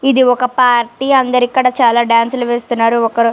ఇది ఒక పార్టీ అందరు ఇక్కడ చాల డాన్సులు వేస్తున్నారు ఒకరు --